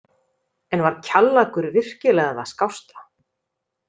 En var Kjallakur virkilega það skásta?